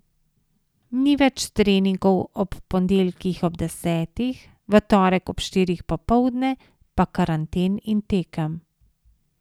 Ni več treningov ob ponedeljkih ob desetih, v torek ob štirih popoldne, pa karanten in tekem.